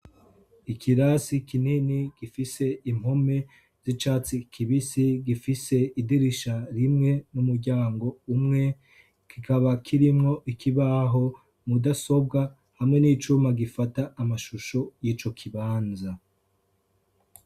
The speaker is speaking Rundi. Nikirasi kinini gifise impome zicatsi kibisi gifise idirisha rimwe n'umuryango umwe kikaba kirimwo ikibaho hamwe n'icuma gufata alshusho yico kibanza.